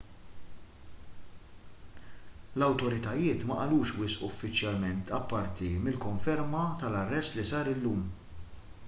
l-awtoritajiet ma qalux wisq uffiċjalment apparti mill-konferma tal-arrest li sar illum